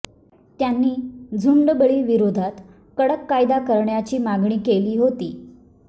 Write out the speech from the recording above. त्यांनी झुंडबळी विरोधात कडक कायदा करण्याची मागणी केली होती